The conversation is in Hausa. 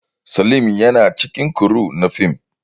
Salim yana daga cikin kuru na fim